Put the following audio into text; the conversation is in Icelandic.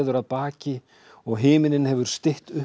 að baki og himininn hefur stytt upp